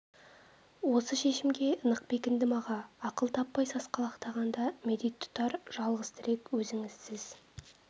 осы шешімге нық бекіндім аға ақыл таппай сасқалақтағанда медет тұтар жалғыз тірек өзіңізсіз